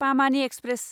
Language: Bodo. पामानि एक्सप्रेस